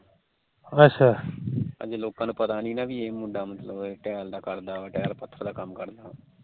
ਹਜੇ ਲੋਕਾਂ ਨੂੰ ਪਤਾ ਨੀ ਨਾ ਇਹ tall ਦਾ ਕਰਦਾ ਆ tall ਪੰਥਰ ਦਾ ਕਰਦਾ ਆ